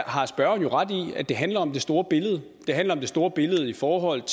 har spørgeren jo ret i at det handler om det store billede det handler om det store billede i forhold